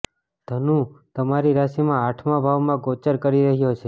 ધનુ તમારી રાશિમાં આઠમા ભાવમાં ગોચર કરી રહ્યો છે